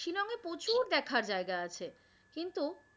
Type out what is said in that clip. শিলংয়ে প্রচুর দেখার জায়গা আছে কিন্তু